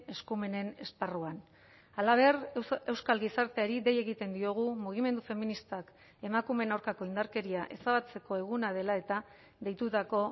eskumenen esparruan halaber euskal gizarteari dei egiten diogu mugimendu feministak emakumeen aurkako indarkeria ezabatzeko eguna dela eta deitutako